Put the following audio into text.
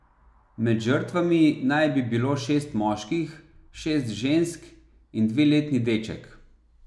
Med žrtvami naj bi bilo šest moških, šest žensk in dveletni deček.